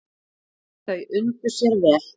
Þau undu sér vel.